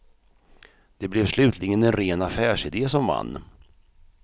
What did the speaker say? Det blev slutligen en ren affärsidé som vann.